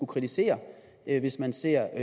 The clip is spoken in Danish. kritisere hvis man ser